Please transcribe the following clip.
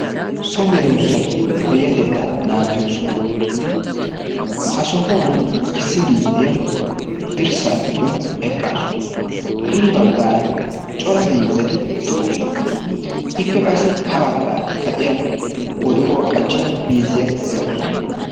So medoossatu payyatettaa naagiyo sohuwa. Ha sohuwan issi miizziya dirssaa giddon eqqaasu. Hini baggaara cora miizzati de'oosona. Ippe qassi ha baggaara kaciyan wodoruwa qachchido miizziya de'awusu.